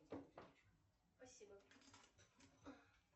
спасибо